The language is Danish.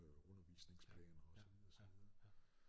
Øh undervisningsplaner og så videre og så videre